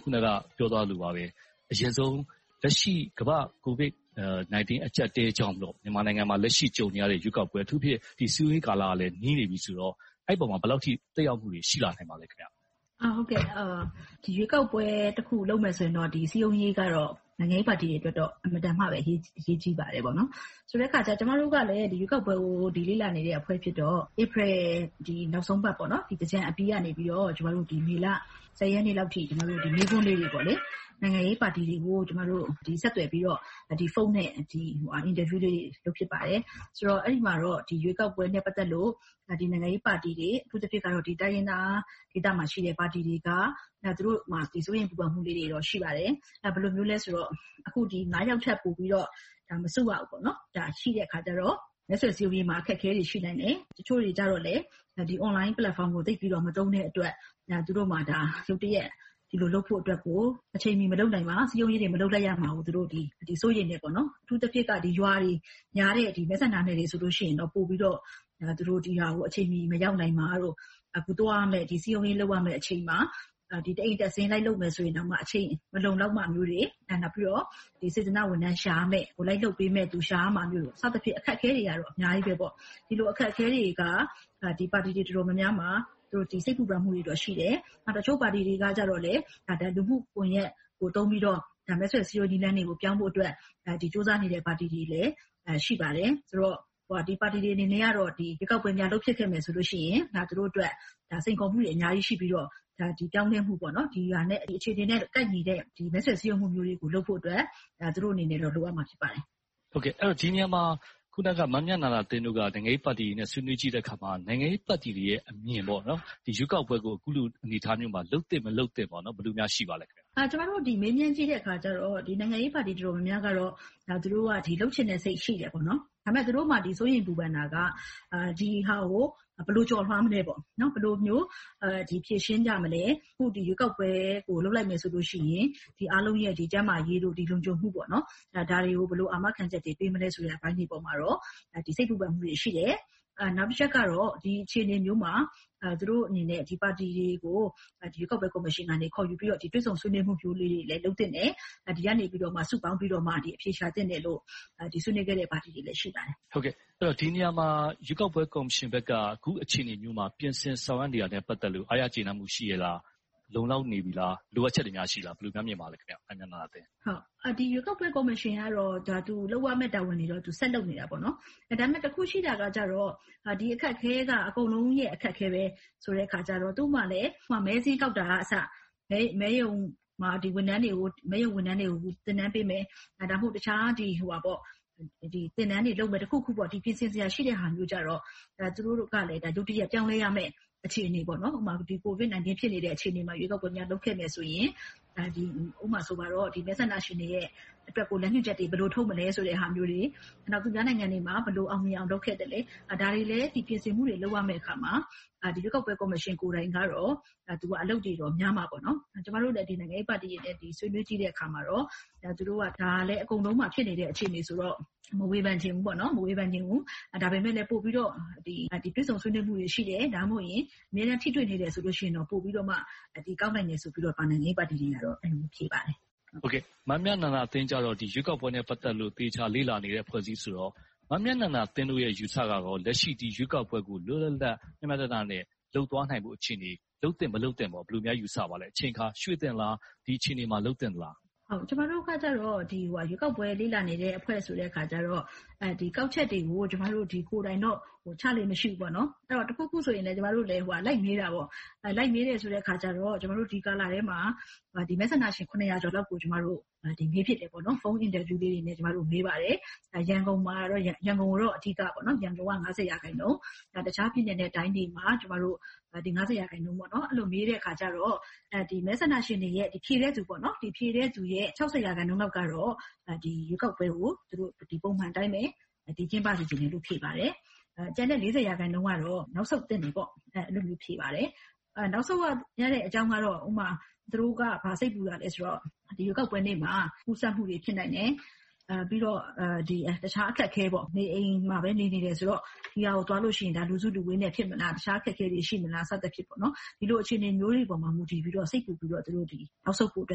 ာ် အခုနပြောသွားသလိုပါပဲ အရင်ဆုံး လက်ရှိကမ္ဘာ့ကိုဗစ်-၁၉ အကျပ်အတည်းကြောင့်မို့ မြန်မာနိုင်ငံမှာ လက်ရှိကြုံနေရတဲ့ ရွေးကောက်ပွဲ။ အထူးသဖြင့် စည်းရုံးရေးကာလကလဲ နီးနေပြီဆိုတော့ အဲဒီပေါ်မှာ ဘယ်လောက်အထိ သက်ရောက်မှုတွေ ရှိလာနိုင်မလဲ။ ရွေးကောက်ပွဲတစ်ခု လုပ်မယ်ဆိုရင်တော့ စည်းရုံးရေးကတော့ နိုင်ငံရေးပါတီတွေအတွက်တော့ အင်မတန်မှပဲ အရေးကြီးပါတယ်။ ဆိုတဲ့အခါကြတော့ ကျမတို့ကလည်း ရွေးကောက်ပွဲကို လေ့လာနေတဲ့အဖွဲ့ဖြစ်တော့ ဧပြီနောက်ဆုံးပတ် သင်္ကြန်ကာလနောက်ပိုင်းကနေ ဒီလ ရက်နေ့လောက်အထိ မေးခွန်းလေးတွေ၊ နိုင်ငံရေးပါတီတွေကို ဆက်သွယ်ပြီးတော့ ဖုန်းနဲ့ အင်တာဗျူးတွေ လုပ်ဖြစ်ပါတယ်။ ဆိုတော့ အဲဒီမှာတော့ ရွေးကောက်ပွဲနဲ့ ပတ်သက်ပြီး နိုင်ငံရေးပါတီတွေ၊ အထူးသဖြင့် တိုင်းရင်းသားဒေသမှာရှိတဲ့ ပါတီတွေက - သူတို့မှာ စိုးရိမ်ပူပန်မှုတွေတော့ ရှိတယ်။ ဘယ်လိုမျိုးလဲဆိုတော့ အခု ယောက်ထက်ပိုပြီးတော့ လူမစုရဘူးဆိုတာ ရှိတဲ့အခါကြတော့ မဲဆွယ်စည်းရုံးရေးတွေမှာ အခက်အခဲတွေ ရှိနိုင်တယ်။ တချို့တွေကြတော့လဲ Online Platform ကို သိပ်ပြီးတော့ မသုံးတဲ့အတွက် ရုတ်တရက် ဒီလိုလုပ်ဖို့အတွက်ကို အချိန်မီ မလုပ်နိုင်ပါ။ စည်းရုံးရေးတွေ မလုပ်နိုင်မှာကို စိုးရိမ်ကြတယ်။ အထူးသဖြင့်က ရွာတွေများတဲ့ မဲဆန္ဒနယ်မြေတွေဆိုရင် ပိုပြီးတော့ ဒီဟာကို အချိန်မီ မရောက်နိုင်တာ။ စည်းရုံးရေးလုပ်ရမယ့်အချိန်မှာ တအိမ်တက်ဆင်း လိုက်လုပ်မယ်ဆိုရင်တောင် အချိန်မလုံလောက်တာမျိုးတွေ။ နောက်ပြီးတော့ စေတနာဝန်ထမ်းတွေ ရှာရမယ့်အလုပ်၊ လိုက်လုပ်ပေးမယ့်လူတွေ ရှာရမှာတွေ စသည်ဖြင့် အခက်အခဲတွေကတော့ အများကြီးပါ။ ဒီလိုအခက်အခဲတွေက ပါတီတွေ တော်တော်များများပါ စိတ်ပူပန်မှုတွေ ရှိနေကြတယ်။ တချို့ပါတီတွေကတော့ လူမှုကွန်ရက်ကိုသုံးပြီးတော့ မဲဆွယ်စည်းရုံးရေး နည်းလမ်းတွေကို ပြောင်းဖို့အတွက် ကြိုးစားနေတဲ့ပါတီတွေလည်း ရှိပါတယ်။ ဆိုတော့ ဒီပါတီတွေအနေနဲ့ကတော့ ရွေးကောက်ပွဲများ လုပ်ဖြစ်ခဲ့မယ်ဆိုရင် သူတို့အတွက် စိန်ခေါ်မှုတွေ အများကြီးရှိပြီးတော့ ပြောင်းလဲမှုတွေ၊ ဒီအခြေအနေနဲ့ ကိုက်ညီတဲ့ မဲဆွယ်စည်းရုံးမှုမျိုးတွေကို လုပ်ဖို့အတွက်တော့ သူတို့အနေနဲ့ လိုအပ်ပါမယ်။ ဒီနေရာမှာ မမြန္ဒာသင်းတို့က နိုင်ငံရေးပါတီတွေနဲ့ ဆွေးနွေးကြည့်တဲ့အခါမှာ နိုင်ငံရေးပါတီတွေရဲ့အမြင်က ဒီရွေးကောက်ပွဲကို အခုလိုအနေအထားမျိုးမှာ လုပ်သင့်မလုပ်သင့်ကို ဘယ်လိုများ ရှိပါသလဲ။ ကျမတို့ မေးမြန်းကြည့်တဲ့အခါကြတော့ နိုင်ငံရေးပါတီ တော်တော်များများကတော့ သူတို့က လုပ်ချင်စိတ်ရှိတယ်။ ဒါပေမဲ့ သူတို့မှာ စိုးရိမ်ပူပန်တာက ဒီဟာကို ဘယ်လိုကျော်လွှာမလဲပေါ့။ နောက် ဘယ်လိုမျိုး ဖြေရှင်းကြမလဲ။ ရွေးကောက်ပွဲကို လုပ်လိုက်မယ်ဆိုရင် အားလုံးရဲ့ ကျန်းမာရေး၊ လုံခြုံမှုတို့ကို ဘယ်လိုအာမခံချက်တွေ ပေးမလဲဆိုတဲ့အပေါ်မှာတော့ စိတ်ပူပန်မှုတွေ ရှိကြတယ်။ နောက်တချက်ကတော့ ဒီအခြေအနေမျိုးမှာ သူတို့အနေနဲ့ ပါတီတွေကို ရွေးကောက်ပွဲကော်မရှင်က ခေါ်ယူပြီးတော့ တွေ့ဆုံဆွေးနွေးမှုမျိုးလေးတွေလည်း လုပ်သင့်တယ်။ ဒီကနေပြီးမှ စုပေါင်းပြီးတော့ အဖြေရှာသင့်တယ်လို့ ဆွေးနွေးခဲ့တဲ့အပိုင်းလေးတွေလည်း ရှိပါတယ်။ ဒီနေရာမှာ ရွေးကောက်ပွဲကော်မရှင်ဘက်က အခုအခြေအနေမျိုးမှာ ပြင်ဆင်ဆောင်ရွက်နေတာနဲ့ ပတ်သက်လို့ အားရကျေနပ်မှု ရှိရဲ့လား။ လုံလောက်နေပြီလား။ လိုအပ်ချက်တွေ ရှိသလား။ ဘယ်လိုများမြင်ပါသလဲ။ ရွေးကောက်ပွဲကော်မရှင်ကတော့ သူလုပ်ရမယ့်တာဝန်တွေကိုတော့ ဆက်လုပ်နေတယ်။ ဒါပေမဲ့ တစ်ခုရှိတာကတော့ ဒီအခက်အခဲက အကုန်လုံးရဲ့ အခက်အခဲ ဖြစ်နေတာဆိုတော့ သူ့မှာလဲ မဲစာရင်းကောက်တာကအစ၊ မဲရုံမှာ ဝန်ထမ်းတွေကို သင်တန်းပေးမယ်။ ဒါမှမဟုတ် တခြားသင်တန်းတွေလုပ်မယ်။ တစ်ခုခုပေါ့ ပြင်ဆင်စရာ ရှိတဲ့ဟာတွေကို သူတို့လဲ ရုတ်တရက် ပြောင်းလဲရမယ့် အခြေအနေ ဖြစ်နေပါတယ်။ ကိုဗစ်ကပ်ရောဂါ ဖြစ်နေချိန်မှာ ရွေးကောက်ပွဲလုပ်ဖြစ်မယ်ဆိုရင် - ဥပမာ မဲဆန္ဒရှင်တွေအတွက် လမ်းညွှန်ချက်တွေ ဘယ်လိုထုတ်မလဲဆိုတဲ့ဟာမျိုးတွေ။ သူများနိုင်ငံတွေမှာ ဘယ်လိုအောင်မြင်အောင် လုပ်ခဲ့သလဲ။ ဒါတွေလဲ ပြင်ဆင်မှုတွေ လုပ်ရမယ့်အခါမှာ ရွေးကောက်ပွဲကော်မရှင်ကိုယ်တိုင်ကတော့ အလုပ်တွေများလာတယ်။ ကျမတို့နဲ့ နိုင်ငံရေးပါတီတွေ ဆွေးနွေးကြည့်တဲ့အခါမှာတော့ ဒါကတော့ အကုန်လုံးမှာ ဖြစ်နေတဲ့ အခြေအနေဆိုတော့ မဝေဖန်ချင်ဘူး။ ဒါပေမဲ့ ပိုပြီးတော့ တွေ့ဆုံဆွေးနွေးမှုတွေ ရှိတယ်။ ဒါမှမဟုတ် အမြဲတမ်း ထိတွေ့နေတယ်ဆိုရင်တော့ ပိုပြီးတော့မှ ကောင်းနိုင်တယ်လို့တော့ နိုင်ငံရေးပါတီတွေက အဲဒီလိုမျိုး ဖြေပါတယ်။ မမြန္ဒာသင်းကြတော့ ရွေးကောက်ပွဲနဲ့ ပတ်သက်လို့ သေချာလေ့လာနေတဲ့ အဖွဲ့အစည်းဆိုတော့ မမြန္ဒာသင်းတို့ရဲ့ အယူအဆက လက်ရှိရွေးကောက်ပွဲကို လွတ်လပ်၊ မျှမျှတတနဲ့ လုပ်သွားနိုင်ဖို့အခြေအနေ၊ လုပ်သင့်မလုပ်သင့် ဘယ်လိုများ ယူဆပါသလဲ။ အချိန်အခါ ရွှေ့သင့်သလား။ ဒီအခြေအနေမှာ လုပ်သင့်သလား။ ကျမတို့ကတော့ ရွေးကောက်ပွဲလေ့လာနေတဲ့ အဖွဲ့ဆိုတဲ့အခါကြတော့ ကောက်ချက်တွေကိုတော့ ကိုယ်တိုင်တော့ချလေ့ မရှိပါဘူး။ တစ်ခုခုဆိုရင် ကျမတို့လဲ လိုက်မေးတယ်။ လိုက်မေးတဲ့အခါမှာ ဒီကာလထဲမှာ မဲဆန္ဒရှင် ကျော်လောက်ကို မေးဖြစ်တယ်။ ဖုန်းအင်တာဗျူးတွေနဲ့ မေးပါတယ်။ ရန်ကုန်ကို အဓိထားပါတယ် - ရန်ကုန်က ရာခိုင်နှုန်း၊ နောက်တခြားပြည်နယ်နဲ့ တိုင်းတွေမှာ ကျမတို့ ရာခိုင်နှုန်း မေးတဲ့အခါမှာ မဲဆန္ဒရှင်တွေရဲ့ ဖြေတဲ့သူရဲ့ ရာခိုင်နှုန်းလောက်က ရွေးကောက်ပွဲကို ဒီပုံစံအတိုင်းပဲ ကျင်းပစေချင်ပါတယ်လို့ ဖြေပါတယ်။ ကျန်တဲ့ ရာခိုင်နှုန်းကတော့ နောက်ဆုတ်သင့်တယ်လို့ ဖြေပါတယ်။ နောက်ဆုတ်ရတဲ့အကြောင်းကတော့ ဥပမာ သူတို့က ဘာစိတ်ပူတာလဲဆိုတော့ ရွေးကောက်ပွဲနေ့မှာ ကူးစက်မှုတွေ ဖြစ်နိုင်တယ်။ ပြီးတော့ တခြားအခက်အခဲ နေအိမ်မှာပဲ နေနေတယ်ဆိုတော့ ရွေးကောက်ပွဲကိုသွားရင် လူစုလူဝေးနဲ့ ဖြစ်မလား။ တခြားအခက်အခဲတွေ ရှိမလား စသည်ဖြင့် ဒီလိုအခြေအနေမျိုးတွေပေါ် မူတည်ပြီးတော့ စိတ်ပူပြီးတော့ နောက်ဆုတ်ဖို့အတွ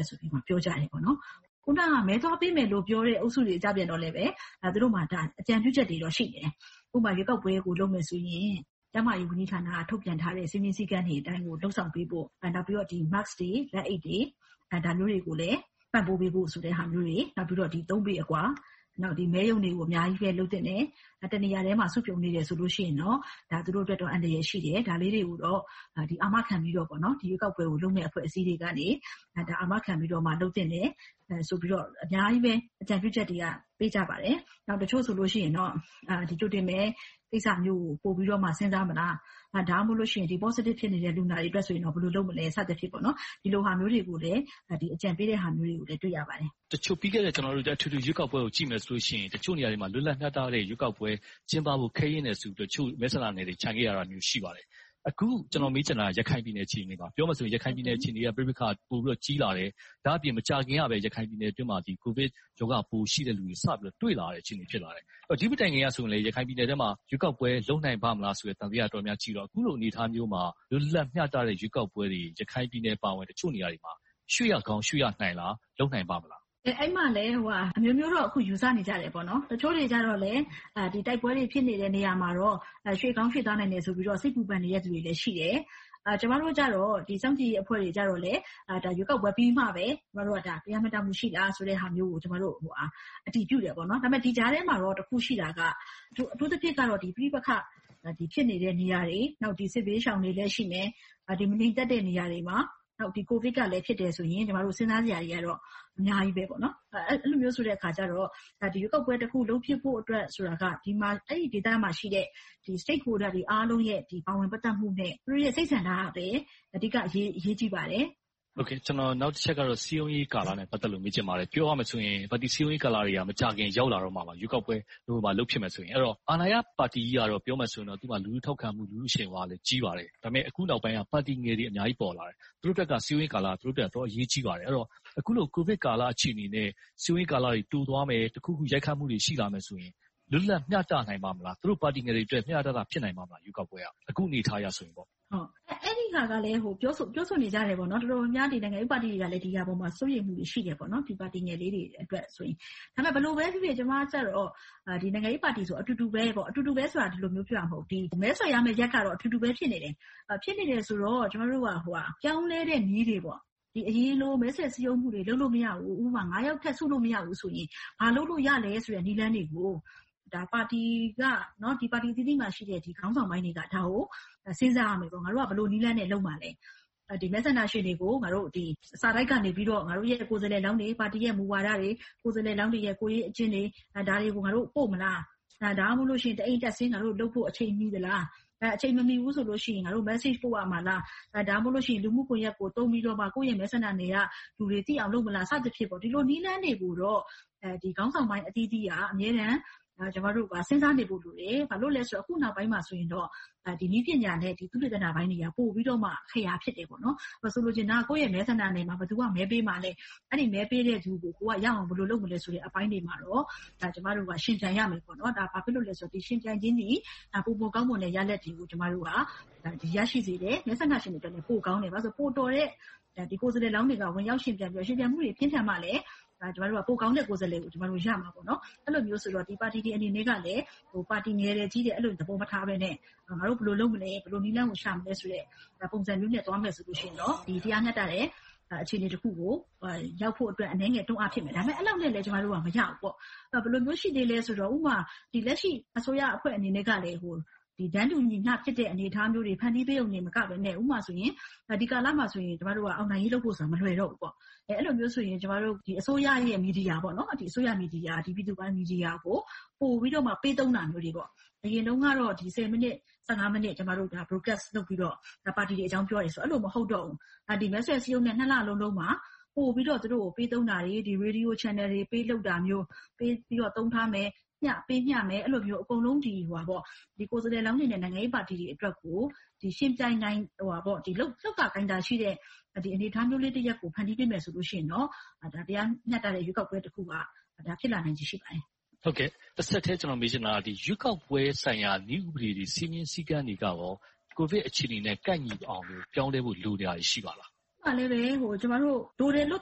က် ပြောကြပါတယ်။ အခုန မဲသွားပေးမယ်ပြောတဲ့ အုပ်စုတွေကလဲ သူတို့မှာ အကြံပြုချက်တွေ ရှိတယ်။ ဥပမာ ရွေးကောက်ပွဲကို လုပ်မယ်ဆိုရင် ကျန်းမာရေးဝန်ကြီးဌာနက ထုတ်ပြန်ထားတဲ့ စည်းမျဉ်းစည်းကမ်းတွေအတိုင်း လုပ်ဆောင်ပေးဖို့။ နောက်ပြီးတော့ Mask တွေ၊ လက်အိတ်တွေ ဒါမျိုးတွေကိုလဲ ပံ့ပိုးပေးဖို့ဟာမျိုးတွေ။ နောက်ပြီးတော့ သုံးပေအကွာ။ နောက် မဲရုံတွေကို အများကြီးလုပ်သင့်တယ်။ တစ်နေရာထဲမှာ စုပြုံနေတယ်ဆိုရင် သူတို့အတွက် အန္တရာယ်ရှိတယ်။ ဒါလေးတွေကိုတော့ အာမခံပြီးတော့ ရွေးကောက်ပွဲကို လုပ်မယ်ဆိုတဲ့ အဖွဲ့အစည်းတွေက အာမခံပြီးတော့ လုပ်သင့်တယ် ဆိုပြီးတော့ အများကြီးပဲ အကြံပြုချက်တွေ ပေးကြပါတယ်။ တချို့ဆိုရင် ကြိုတင်မဲကိစ္စမျိုးကို ပိုပြီးတော့ စဉ်းစားမလား။ ဒါမှမဟုတ် Positive ဖြစ်နေတဲ့ လူနာတွေအတွက် ဘယ်လိုလုပ်မလဲ စသည်ဖြင့် ဒီလိုဟာမျိုးတွေကိုလဲ အကြံပေးတာတွေလည်း တွေ့ရပါတယ်။ တချို့ပြီးခဲ့တဲ့ အထွေထွေရွေးကောက်ပွဲတွေကို ကြည့်မယ်ဆိုရင် တချို့နေရာတွေမှာ လွတ်လပ်မျှတတဲ့ ရွေးကောက်ပွဲ ကျင်းပဖို့ ခဲယဉ်းတယ်ဆိုပြီးတော့ တချို့မဲဆန္ဒနယ်မြေတွေကို ချန်ခဲ့တာတွေ ရှိပါတယ်။ အခု ကျနော်မေးချင်တာက ရခိုင်ပြည်နယ်အခြေအနေပါ။ ပြောမယ်ဆိုရင် ရခိုင်ပြည်နယ်အခြေအနေက ပဋိပက္ခတွေက ပိုပြီးကြီးလာတယ်။ ဒါ့အပြင် မကြာသေးခင်ကပဲ ရခိုင်ပြည်နယ်အတွင်းမှာ ကိုဗစ်ရောဂါပိုး ရှိသူတွေကို စပြီးတော့ တွေ့လာရတဲ့ အခြေအနေ ဖြစ်လာတယ်။ ဒီမတိုင်မီကလဲ ရခိုင်ပြည်နယ်ထဲမှာ ရွေးကောက်ပွဲလုပ်နိုင်ပါ့မလားဆိုတဲ့ သံသယတွေရှိတော့ အခုလိုအနေအထားမျိုးမှာ လွတ်လပ်မျှတတဲ့ ရွေးကောက်ပွဲတွေ ရခိုင်ပြည်နယ်အပါအဝင် တချို့နေရာတွေမှာ ရွှေ့ရကောင်းရွှေ့ရနိုင်လား။ လုပ်နိုင်ပါ့မလား။ အဲဒီမှာလဲ အမျိုးမျိုးတော့ ယူဆနေကြတယ်။ တချို့တွေကြတော့လဲ ဒီတိုက်ပွဲတွေ ဖြစ်နေကြတဲ့ နေရာတွေမှာတော့ ရွှေ့ပြောင်းရွှေ့သွားနိုင်တယ်လို့ စိတ်ပူပန်နေတဲ့လူတွေလည်း ရှိတယ်။ ကျမတို့ စောင့်ကြည့်ရေးအဖွဲ့တွေကြတော့လဲ ဒါက ရွေးကောက်ပွဲပြီးမှပဲ တရားမျှတမှုရှိလား၊ မရှိဘူးလားဆိုတာကို အတည်ပြုကြတယ်။ ဒီကြားထဲမှာတော့ တစ်ခုရှိတာက အထူးသဖြင့်ကတော့ ပဋိပက္ခဖြစ်နေတဲ့ နေရာတွေ၊ နောက် စစ်ဘေးရှောင်တွေလည်း ရှိမယ်။ မငြိမ်သက်တဲ့နေရာတွေမှာ ကိုဗစ်ကလည်း ဖြစ်တယ်ဆိုရင်တော့ စဉ်းစားစရာတွေကတော့ အများကြီးပေါ့။ အဲဒီလိုမျိုးအခါကြတော့ ရွေးကောက်ပွဲတစ်ခု လုပ်ဖြစ်ဖို့အတွက်က အဲဒီဒေသမှာရှိတဲ့ Stakeholders တွေအားလုံးရဲ့ ပါဝင်ပတ်သက်မှုနဲ့ သူတို့ရဲ့ စိတ်ဆန္ဒပဲ အဓိကအရေးကြီးပါတယ်။ ကျနော် နောက်တစ်ချက်ကတော့ စည်းရုံးရေးကာလနဲ့ ပတ်သက်လို့ မေးချင်ပါတယ်။ ပြောရမယ်ဆိုရင် ပါတီစည်းရုံးရေးကာလတွေက မကြာမီ ရောက်လာတော့မှာပါ။ ရွေးကောက်ပွဲ လုပ်ဖြစ်မယ်ဆိုရင်။ အဲဒီတော့ အာဏာရပါတီကြီးကတော့ ပြောမယ်ဆိုရင်တော့ သူ့မှာ လူထုထောက်ခံမှု၊ လူထုအရှိန်အဝါကလည်း ကြီးပါတယ်။ ဒါပေမဲ့ အခုနောက်ပိုင်းက ပါတီငယ်တွေ အများကြီးပေါ်လာတယ်။ သူတို့အတွက် စည်းရုံးရေးကာလက အတော်လေးအရေးကြီးပါတယ်။ အဲဒီတော့ အခုလို ကိုဗစ်ကာလ အခြေအနေနဲ့ စည်းရုံးရေးကာလတွေ တိုသွားမယ်။ တစ်ခုခု ရိုက်ခတ်မှုတွေ ရှိလာမယ်ဆိုရင် လွတ်လပ်မျှတနိုင်ပါ့မလား။ သူတို့ပါတီငယ်တွေအတွက် မျှမျှတတ ဖြစ်နိုင်ပါ့မလား။ အခုအနေအထားအရ ဆိုရင်ပေါ့။ အဲဒီဟာကလဲ ပြောဆိုနေကြတယ်။ တော်တော်များများ နိုင်ငံရေးပါတီတွေကလဲ ဒီအပေါ်မှာ စိုးရိမ်မှုတွေ ရှိကြတယ်။ ပါတီငယ်လေးတွေ အတွက်ဆိုရင်။ အမှန်မှာ ဘယ်လိုပဲဖြစ်ဖြစ် ကျမကြတော့ နိုင်ငံရေးပါတီဆိုတာ အတူတူပဲ။ အတူတူပဲဆိုတာက မဲဆွယ်ရမယ့်ရက်တော့ အတူတူပဲ ဖြစ်နေတယ်။ ဖြစ်နေတယ်ဆိုတော့ ကျမတို့က ပြောင်းလဲတဲ့နည်းတွေ - အရင်လိုပဲ မဲဆွယ်စည်းရုံးမှုတွေ လုပ်လို့မရဘူး။ ဥပမာ ယောက်ထက်ပိုပြီး စုလို့မရဘူးဆိုရင် ဘာလုပ်လို့ရသလဲဆိုတဲ့ နည်းလမ်းတွေကို ပါတီအသီးသီးမှာရှိတဲ့ ခေါင်းဆောင်ပိုင်းတွေက ဒါကို စဉ်းစားရမယ်။ ငါတို့က ဘယ်လိုနည်းလမ်းနဲ့ လုပ်မှာလဲ။ မဲဆန္ဒရှင်တွေကို ငါတို့ စာတိုက်ကနေပြီး ငါတို့ရဲ့ ကိုယ်စားလှယ်လောင်းတွေ၊ ပါတီရဲ့မူဝါဒတွေ၊ ကိုယ်စားလှယ်လောင်းတွေရဲ့ ကိုယ်ရေးအကျဉ်းတွေ ဒါတွေကို ငါတို့ပို့မလား။ ဒါမှမဟုတ် တအိမ်တက်ဆင်း ငါတို့လုပ်ဖို့ အချိန်မီသလား။ အချိန်မမီဘူးဆိုရင် message ပို့ရမလား။ ဒါမှမဟုတ် လူမှုကွန်ရက်ကိုသုံးပြီးတော့ ကိုယ့်ရဲ့မဲဆန္ဒနယ်မြေက လူတွေသိအောင်လုပ်မလား စသည်ဖြင့် ဒီလိုနည်းလမ်းတွေကိုတော့ ခေါင်းဆောင်ပိုင်းအသီးသီးက အမြဲတမ်းစဉ်းစားနေဖို့လိုတယ်။ ဘာဖြစ်လို့လဲဆိုတော့ အခုနောက်ပိုင်းမှာဆိုရင်တော့ နည်းပညာနဲ့ သုတေသနပိုင်းတွေက ပိုပြီးတော့မှ အခရာဖြစ်တယ်။ ဆိုလိုချင်တာက ကိုယ့်ရဲ့မဲဆန္ဒနယ်မြေမှာ ဘယ်သူက မဲပေးမလဲ။ အဲဒီမဲပေးတဲ့လူကို ကိုယ်ကရအောင် ဘယ်လိုလုပ်ရယူမလဲဆိုတဲ့ အပိုင်းတွေမှာတော့ ကျမတို့မှာ ယှဉ်ပြိုင်ရမယ်။ ဘာဖြစ်လို့လဲဆိုတော့ ယှဉ်ပြိုင်ခြင်းသည် ပိုမိုကောင်းမွန်တဲ့ရလဒ်တွေကို ကျမတို့က ရရှိစေတယ်။ မဲဆန္ဒရှင်တွေအတွက် ပိုကောင်းတယ်။ ပိုတော်တဲ့ ကိုယ်စားလှယ်လောင်းတွေက ဝင်ရောက်ယှဉ်ပြိုင်မှုတွေ ပြင်းထန်မှပဲ ပိုကောင်းတဲ့ကိုယ်စားလှယ်တွေကို ရမယ်။ အဲဒီလိုမျိုးဆိုတော့ ပါတီတွေအနေနဲ့ ပါတီငယ်တယ်၊ ကြီးတယ် သဘောမထားဘဲနဲ့ ငါတို့ဘယ်လိုလုပ်မလဲ။ ဘယ်လိုနည်းလမ်းကို ရှာမလဲဆိုတဲ့ ပုံစံမျိုးနဲ့ သွားမယ်ဆိုရင်တော့ တရားမျှတတဲ့ အခြေအနေတစ်ခုကို ရောက်ဖို့အတွက် အနည်းငယ်တွန်းအားဖြစ်မယ်။ အဲဒီလောက်နဲ့လဲ ကျမတို့က မရဘူး။ ဘယ်လိုမျိုး ရှိသေးလဲဆိုတော့ ဥပမာ လက်ရှိအစိုးရအဖွဲ့အနေနဲ့က တန်းတူညီမျှဖြစ်တဲ့ အနေအထားမျိုးတွေ ဖန်တီးပေးရုံတင်မကဘဲ၊ ဥပမာ ဒီကာလမှာ အောင်နိုင်ရေးလုပ်ဖို့ဆိုတာ မလွယ်တော့ဘူး။ အဲဒီလိုမျိုးဆိုရင် အစိုးရရဲ့ မီဒီယာ၊ ပြည်သူပိုင်မီဒီယာတွေကို ပိုပြီးတော့ ပေးသုံးတာမျိုးတွေ။ ဘယ်တုန်းကတော့ မိနစ်၊ မိနစ် Broadcast လုပ်ပြီးတော့ ပါတီတွေအကြောင်းပြောတယ်။ အဲဒီလိုမျိုး မဟုတ်တော့ဘူး။ မဲဆွယ်စည်းရုံးရေးလုပ်ရမယ့် နှစ်လအတွင်းမှာ သူတို့ကို ပိုပြီးတော့ ပေးသုံးတာမျိုးတွေ၊ ရေဒီယိုချန်နယ်လ်တွေ ပေးလုပ်တာမျိုး၊ ပေးပြီးတော့သုံးခွင့်ပြုထားမယ်၊ ပေးမျှမယ် အကုန်လုံး ကိုယ်စားလှယ်လောင်းတွေနဲ့ နိုင်ငံရေးပါတီတွေအတွက်ကို ယှဉ်ပြိုင်နိုင်မယ့် လှုပ်သာကိုင်သာရှိမယ့် အနေအထားမျိုးလေးတစ်ရပ်ကို ဖန်တီးပေးနိုင်မယ်ဆိုရင်တော့ တရားမျှတတဲ့ ရွေးကောက်ပွဲတစ်ခု ဖြစ်လာမယ့်အခြေအနေ ရှိပါတယ်။ တဆက်တည်း ကျနော်မေးချင်တာက ရွေးကောက်ပွဲဆိုင်ရာ နည်းဥပဒေတွေ၊ စည်းမျဉ်းစည်းကမ်းတွေက ကိုဗစ်အခြေအနေနဲ့ ကိုက်ညီအောင် ပြောင်းလဲဖို့ လိုနေတာတွေ ရှိပါလား။ လိုတယ်လို့ ပြောတဲ့လူ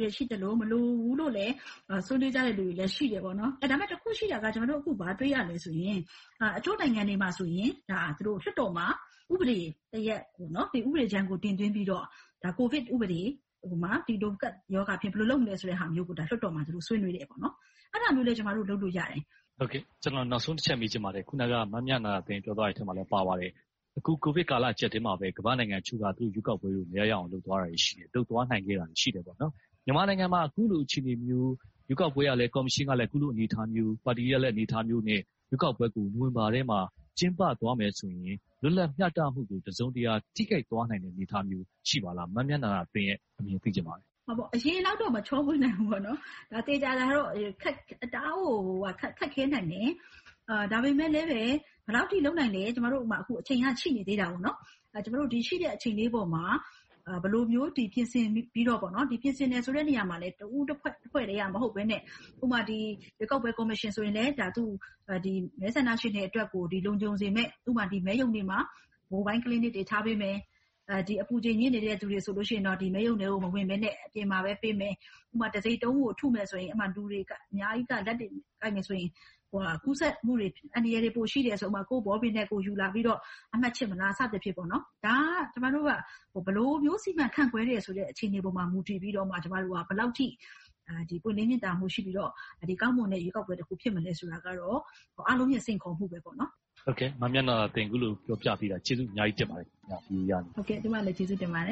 တွေ ရှိသလို၊ မလိုဘူးလို့လဲ ဆွေးနွေးကြတဲ့လူတွေ ရှိပါတယ်။ ဒါပေမဲ့ တစ်ခုရှိတာက ကျမတို့ ဘာတွေ့ရသလဲဆိုရင် တချို့နိုင်ငံတွေမှာ လွှတ်တော်မှာ ဥပဒေတစ်ရပ်၊ ဥပဒေကြမ်းကို တင်သွင်းပြီးတော့ ကိုဗစ်ဥပဒေ။ ဥပမာ ဒီလိုကပ်ရောဂါဖြစ်ရင် ဘယ်လိုလုပ်မလဲဆိုတာမျိုးကို လွှတ်တော်မှာ သူတို့ဆွေးနွေးကြတယ်။ အဲဒါမျိုးလဲ ကျမတို့ လုပ်လို့ရတယ်။ ကျနော် နောက်ဆုံးတစ်ချက် မေးချင်ပါတယ်။ အခုန မမြန္ဒာသင်း ပြောသွားတဲ့အထဲမှာလဲ ပါပါတယ်။ အခု ကိုဗစ်ကာလ အကျပ်အတည်းမှာ ကမ္ဘာ့နိုင်ငံအချို့က ရွေးကောက်ပွဲတွေကို မရရအောင် လုပ်သွားတာတွေ ရှိတယ်။ လုပ်သွားနိုင်တာတွေ ရှိတယ်။ မြန်မာနိုင်ငံမှာ အခုလိုအခြေအနေမျိုး ရွေးကောက်ပွဲကော်မရှင်ကလဲ အခုလိုအနေအထားမျိုး။ ပါတီတွေရဲ့ အနေအထားမျိုးနဲ့ ရွေးကောက်ပွဲကို နိုဝင်ဘာလထဲမှာ ကျင်းပသွားမယ်ဆိုရင် လွတ်လပ်မျှတမှုကို တစုံတရာ ထိခိုက်သွားနိုင်မယ့် အနေအထားမျိုး ရှိပါသလား။ မမြန္ဒာသင်းရဲ့ အမြင်ကို သိချင်ပါတယ်။ အရင်လောက်တော့…. သေချာတာကတော့ တအားကို ခက်ခဲနိုင်မယ်။ ဒါပေမဲ့လဲ ဘယ်လောက်အထိ လုပ်နိုင်သလဲ။ အခု အချိန်ကရှိနေသေးတော့ ရှိတဲ့အချိန်လေးပေါ်မှာ ဘယ်လိုမျိုးပြင်ဆင်ပြီးတော့ - ပြင်ဆင်တဲ့နေရာမှာလဲ တဦိးတဖွဲ့တည်းက မဟုတ်ဘဲနဲ့ ဥပမာ ရွေးကောက်ပွဲကော်မရှင်ဆိုရင် မဲဆန္ဒရှင်တွေအတွက် လုံခြုံစေမယ့် မဲရုံတွေမှာ Mobile Clinic တွေ ထားပေးမယ်။ အပူချိန်မြင့်နေတဲ့ လူတွေဆိုရင်တော့ မဲရုံထဲကို မဝင်ဘဲနဲ့ အပြင်မှာပဲ ပေးမယ်။ ဥပမာ တံဆိပ်တုံးကို ထုမယ်ဆိုရင် လူတွေအများကြီးက ကိုင်ကြမယ်ဆိုရင် ကူးစက်မှုတွေ အန္တရာယ်တွေ ပိုရှိတာကြောင့် ကိုယ့်ဘောပင် ကိုယ်ယူလာပြီးတော့ အမှတ်ခြစ်မလား စသည်ဖြင့် ဒါက ဘယ်လိုမျိုး စီမံခန့််ခွဲဆိုတဲ့ အခြေအနေပေါ်မှာ မူတည်ပြီးတော့ ဘယ်လောက်အထိ ပွင့်လင်းမြင်သာမှု ရှိပြီးတော့ ကောင်းမွန်တဲ့ ရွေးကောက်ပွဲ ဖြစ်မလဲဆိုတာကတော့ အားလုံးရဲ့စိန်ခေါ်မှုတစ်ခုပါ။ အခုလို ပြောပြပေးတာ ကျေးဇူးအများကြီးတင်ပါတယ်။ ကျမလည်း ကျေးဇူးတင်ပါတယ